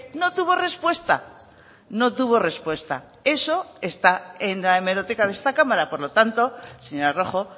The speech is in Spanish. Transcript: no tuvo respuesta no tuvo respuesta eso está en la hemeroteca de esta cámara por lo tanto señora rojo